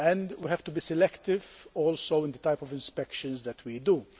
We also have to be selective in the type of inspections that we do.